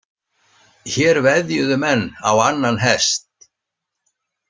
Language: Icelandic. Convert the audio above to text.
Hér veðjuðu menn á annan hest.